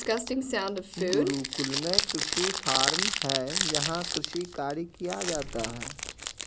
गुरुकुल में कृषि फार्म है जहां कृषि कार्य किया जाता है